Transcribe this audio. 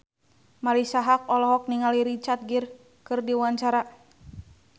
Marisa Haque olohok ningali Richard Gere keur diwawancara